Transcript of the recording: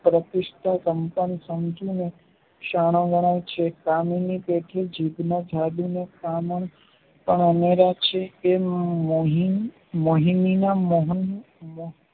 સમજીને સાણાંવાણાં છે એની કેટલીક જીભના સ્થાને અમારા છે તે મોહિં~મોહિની ના મોહન